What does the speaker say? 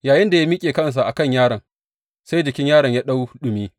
Yayinda ya miƙe kansa a kan yaron, sai jikin yaron ya ɗau ɗumi.